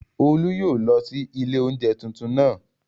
Olú yóò lọ sí ilé oúnjẹ tuntun naa